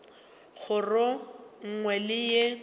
kgoro ye nngwe le ye